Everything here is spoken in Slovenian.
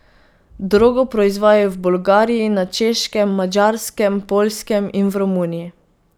Drogo proizvajajo v Bolgariji, na Češkem, Madžarskem, Poljskem in v Romuniji.